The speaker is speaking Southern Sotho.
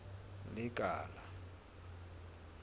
lekala